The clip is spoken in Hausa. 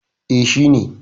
E, shi ne.